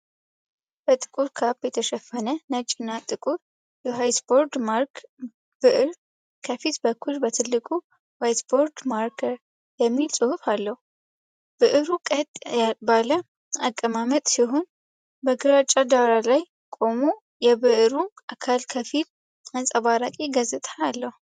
በጥቁር ካፕ የተሸፈነ ነጭ እና ጥቁር የኋይትቦርድ ማርከር ብዕር፣ ከፊት በኩል በትልቁ "WHITEBOARD MARKER" የሚል ጽሁፍ አለው። ብዕሩ ቀጥ ባለ አቀማመጥ ሲሆን በግራጫ ዳራ ላይ ቆሞ። የብዕሩ አካል ከፊል አንጸባራቂ ገጽታ አለው።